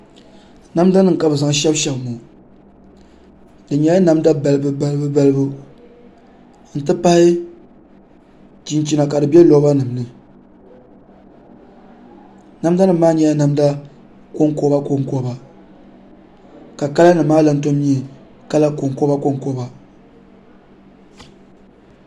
Namda nim ka bi zaŋ shaba shaba ŋɔ di nyɛla balabu balibu n ti pahi chinchina ka di bɛ loba nimni namda nima maa nyɛla kɔŋkoba ka kala nimaa gba lahi nyɛ konkoba